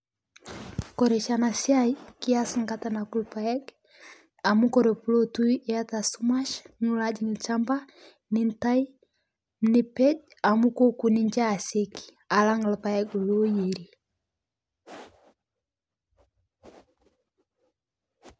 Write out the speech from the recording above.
Kore shi ana siai kias nkata nakuu lpaeg amu kore pikotu iata sumash nilo ajing' lshampa nintai nipej amu kokuu ninshe asekii alang' lpaeg loyerii.